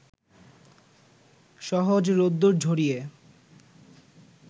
সহজ রোদ্দুর ঝরিয়ে